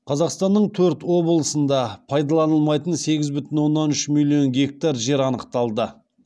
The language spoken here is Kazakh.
қазақстанның төрт облысында пайдаланылмайтын сегіз бүтін оннан үш миллион гектар жер анықталды